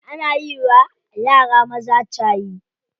Ana yiwa yara maza shayi.